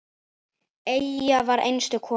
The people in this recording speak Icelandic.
Eyja var einstök kona.